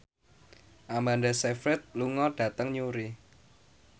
Amanda Sayfried lunga dhateng Newry